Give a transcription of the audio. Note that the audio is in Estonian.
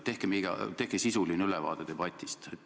Tehke sisuline ülevaade debatist.